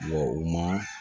u ma